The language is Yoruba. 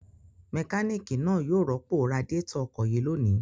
Mẹkáníkì náà yóò rọ́pò radiátọ̀ ọkọ̀ yìí lónìí.